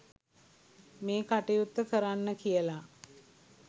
මේ කටයුත්ත කරන්න කියලා.